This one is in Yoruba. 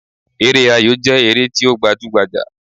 Eré ayò jẹ́ ère ti o gbajú gbajà